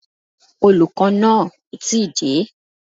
Olùkọ́ náà ò tí ì dé